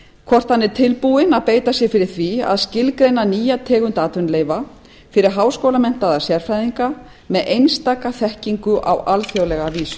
hvort hann er tilbúinn að beita sér fyrir því að skilgreina nýja tegund atvinnuleyfa fyrir háskólamenntaða sérfræðinga með einstaka þekkingu á alþjóðlega vísu